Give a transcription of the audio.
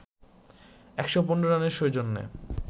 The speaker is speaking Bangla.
১১৫ রানের সৌজন্যে